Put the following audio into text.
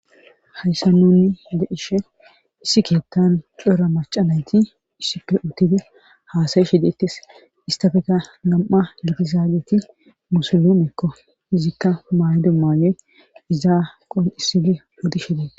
hayssan nuuni be7ishe issi keettan cora macca nayti issippe uttidi haasayishe deettes istafeka nam7a gidizaageti musulumekko izikka maayido maayoy izaa qoncciissidi odishe dete.